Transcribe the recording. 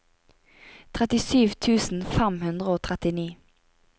trettisju tusen fem hundre og trettini